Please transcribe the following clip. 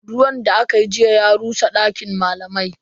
Ruwan da akayi jiya ya rusa dakin malamai.